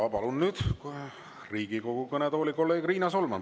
Ja palun nüüd Riigikogu kõnetooli kolleeg Riina Solmani.